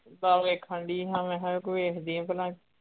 ਮੈਂ ਵੇਖਣ ਡਈ ਹਾਂ, ਮੈਂਹਾ ਕੋਈ ਏਹੋ ਜੇਹੀਆ ਬਣਾ।